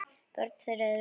Börn þeirra eru